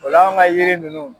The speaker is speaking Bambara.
Ola anw ka yiri ninnu